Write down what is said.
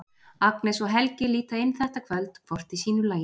Agnes og Helgi líta inn þetta kvöld, hvort í sínu lagi.